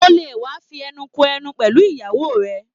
O le wa fí ẹnu kò ẹnu pẹlú ìyàwó rẹ!